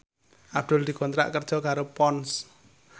Abdul dikontrak kerja karo Ponds